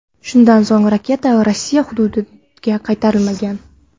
Shundan so‘ng raketa Rossiya hududiga qaytarilmagan.